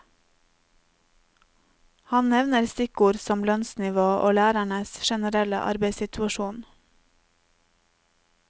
Han nevner stikkord som lønnsnivå og lærernes generelle arbeidssituasjon.